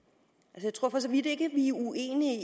jeg tror for så vidt ikke at vi er uenige